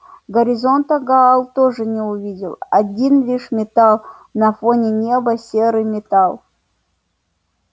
горизонта гаал тоже не увидел один лишь металл на фоне неба серый металл